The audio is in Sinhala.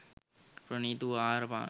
ප්‍රණීත වූ ආහාර පාන